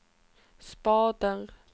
spader